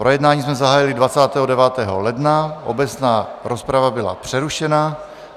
Projednávání jsme zahájili 29. ledna, obecná rozprava byla přerušena.